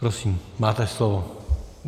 Prosím, máte slovo.